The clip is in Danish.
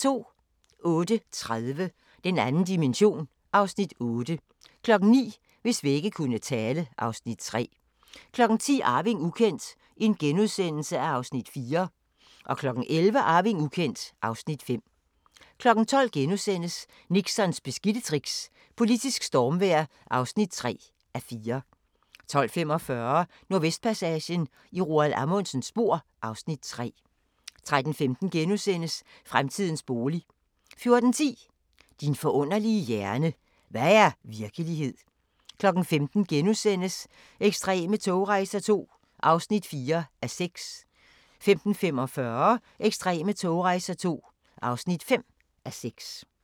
08:30: Den 2. dimension (Afs. 8) 09:00: Hvis vægge kunne tale (Afs. 3) 10:00: Arving ukendt (Afs. 4)* 11:00: Arving ukendt (Afs. 5) 12:00: Nixons beskidte tricks - politisk stormvejr (3:4)* 12:45: Nordvestpassagen – i Roald Amundsens spor (Afs. 3) 13:15: Fremtidens bolig * 14:10: Din forunderlige hjerne: Hvad er virkelighed? 15:00: Ekstreme togrejser II (4:6)* 15:45: Ekstreme togrejser II (5:6)